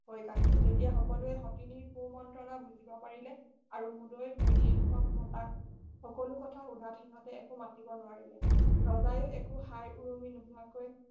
সৈ কাহিলে তেতিয়া সকলোৱে সতিনিৰ কুমন্ত্ৰণা বুজিব পাৰিলে আৰু মূদৈ ঘৈণীয়েক হতকমতা সকলো কথা সোধাত সিহঁতে একো মাতিব নোৱাৰিলে ৰজাই একো হাই উৰুঙি নোহোৱাকৈ